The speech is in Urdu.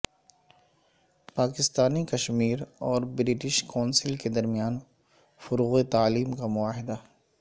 پاکستانی کشمیر اور برٹش کونسل کے درمیان فروغ تعلیم کا معاہدہ